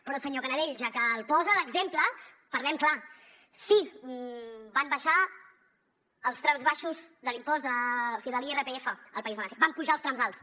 però senyor canadell ja que el posa d’exemple parlem clar sí van abaixar els trams baixos de l’impost de l’irpf al país valencià van apujar els trams alts